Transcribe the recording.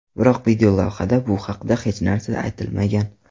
Biroq videolavhada bu haqda hech narsa aytilmagan.